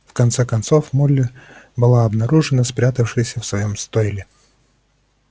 в конце концов молли была обнаружена спрятавшейся в своём стойле